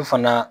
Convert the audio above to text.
U fana